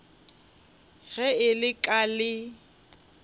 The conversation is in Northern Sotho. ge e le ka le